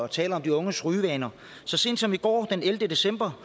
tale om de unges rygevaner så sent som i går den ellevte december